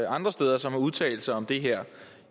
andre steder som har udtalt sig om det her